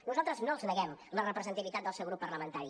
nosaltres no els neguem la representativitat del seu grup parlamentari